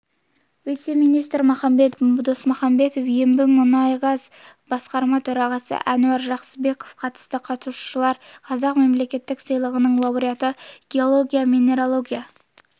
вице-министрі махамбет досмұхамбетов ембімұнайгаз басқарма төрағасы әнуар жақсыбеков қатысты қатысушылар қазақ мемлекеттік сыйлығының лауреаты геология-минералогия